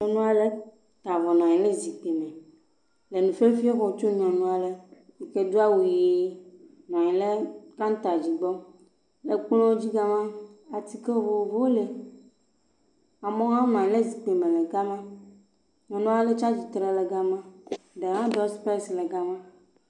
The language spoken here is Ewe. Nyɔnu aɖe ta avɔ nɔ anyi ɖe zikpui me le nufiafia xɔm tsom nyɔnu aɖe yi ke do awu ʋi nɔ anyi ɖe kanta dzi gbɔ. Ekplɔ dzi ga ma atike vovovowo li. Amewo hã wonɔ anyi ɖe zikpui me ga ma. Nyɔnua ɖe tsi atsitre le ga ma.